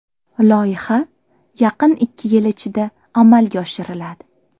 Loyiha yaqin ikki yil ichida amalga oshiriladi.